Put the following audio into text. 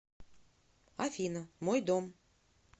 афина мой дом